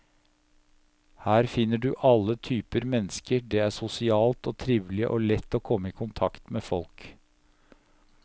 Her finner du alle typer mennesker, det er sosialt og trivelig og lett å komme i kontakt med folk.